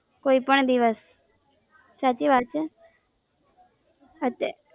કોઈ પણ દિવસ સાચી વાત છે સાચ્ચે